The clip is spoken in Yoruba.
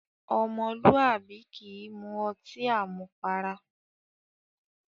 Ọmọlúwàbí kì í mu ọtí àmupara.